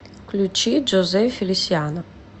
включи джозе фелисиано